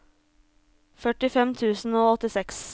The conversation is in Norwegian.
førtifem tusen og åttiseks